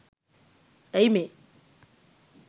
ඇයි මේ